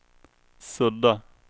sudda